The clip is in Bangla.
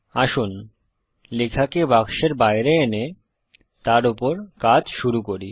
আসুন লেখাকে বাক্সের বাইরে এনে তার ওপর কাজ শুরু করি